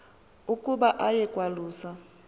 ukuba aye kwalusa